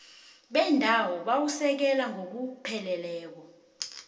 bendawo buwasekela ngokupheleleko